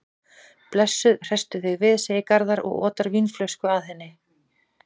Blessuð, hresstu þig við, segir Garðar og otar vínflösku að henni.